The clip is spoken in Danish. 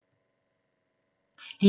DR1